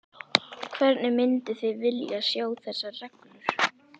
Hvernig mynduð þið vilja sjá þessar reglur?